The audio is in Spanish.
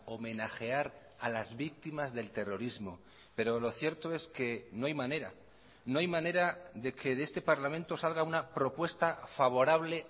homenajear a las víctimas del terrorismo pero lo cierto es que no hay manera no hay manera de que de este parlamento salga una propuesta favorable